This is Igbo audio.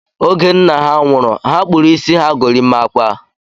Oge nna ha nwụrụ, ha kpụrụ isi ha gorimakwa